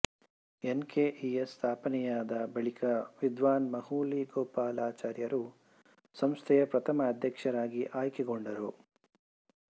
N K E S ಸ್ಥಾಪನೆಯಾದ ಬಳಿಕ ವಿದ್ವಾನ್ ಮಾಹುಲಿ ಗೋಪಾಲಾಚಾರ್ಯರು ಸಂಸ್ಥೆಯ ಪ್ರಥಮ ಅಧ್ಯಕ್ಷರಾಗಿ ಆಯ್ಕೆಗೊಂಡರು